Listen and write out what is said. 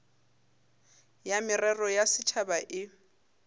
ya merero ya setšhaba e